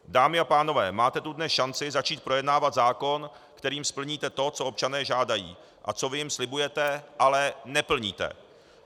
Dámy a pánové, máte tu dnes šanci začít projednávat zákon, kterým splníte to, co občané žádají a co vy jim slibujete, ale neplníte.